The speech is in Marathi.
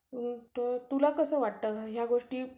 तुला कसं वाटतं, ह्या गोष्टी